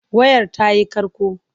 Wayar ta yi ƙarƙo.